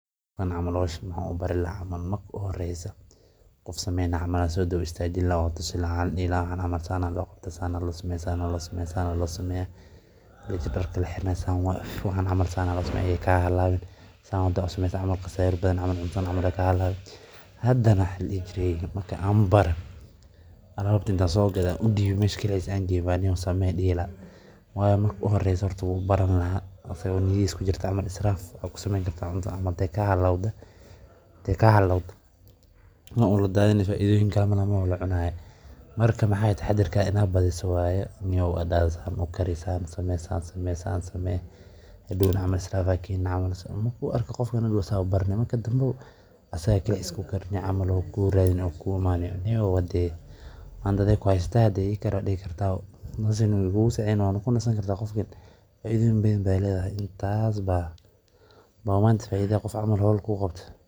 iibsadaan ama u dhoofiyaan suuqyo kale. Suuqa xoolaha wuxuu kaalin weyn ku leeyahay kobcinta dhaqaalaha deegaanka, abuurista shaqooyin, iyo sahayda hilibka iyo xoolaha nool ee suuqyada waaweyn. Intaa waxaa dheer, suuqa xoolaha waa meel lagu kala warqaato, lana xoojiyo